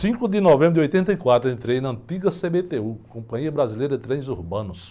cinco de novembro de oitenta e quatro, entrei na antiga cê-bê-tê-ú, Companhia Brasileira de Trens Urbanos.